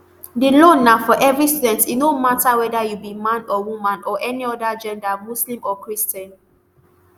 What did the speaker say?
di loan na for every student e no mata weda you be man or woman or any oda gender muslim or christian